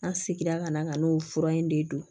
An seginna ka na ka n'o fura in de don